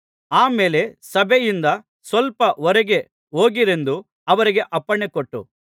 ಆ ಮೇಲೆ ಸಭೆಯಿಂದ ಸ್ವಲ್ಪ ಹೊರಗೆ ಹೋಗಿರೆಂದು ಅವರಿಗೆ ಅಪ್ಪಣೆ ಕೊಟ್ಟು